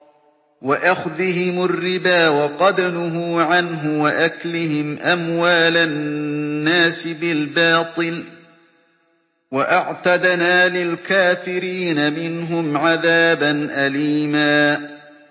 وَأَخْذِهِمُ الرِّبَا وَقَدْ نُهُوا عَنْهُ وَأَكْلِهِمْ أَمْوَالَ النَّاسِ بِالْبَاطِلِ ۚ وَأَعْتَدْنَا لِلْكَافِرِينَ مِنْهُمْ عَذَابًا أَلِيمًا